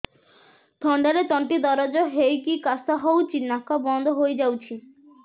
ଥଣ୍ଡାରେ ତଣ୍ଟି ଦରଜ ହେଇକି କାଶ ହଉଚି ନାକ ବନ୍ଦ ହୋଇଯାଉଛି